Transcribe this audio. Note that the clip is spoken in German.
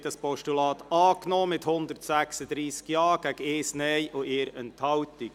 Sie haben das Postulat angenommen mit 136 Ja-Stimmen gegen 1 Nein-Stimme bei 1 Enthaltung.